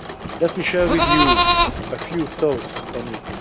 Let me share with you a few thoughts on it.